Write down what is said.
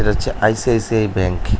এটা হচ্ছে ICICI bank.